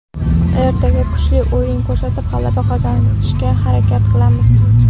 Ertaga kuchli o‘yin ko‘rsatib, g‘alaba qozonishga harakat qilamiz.